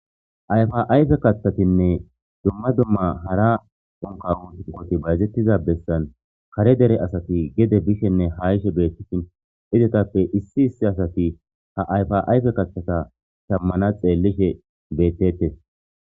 Ayfa ayfe kaththatinne dumma dumma hara onka hunuqoti bayzettiza bessan kare dere asati gede bishenne ha ishe bettehin izetappe issi issi asati ha ayfa ayfe kachthata shammana xeellishe bettettes.